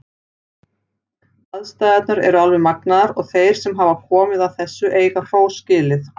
Aðstæðurnar eru alveg magnaðar og þeir sem hafa komið að þessu eiga hrós skilið.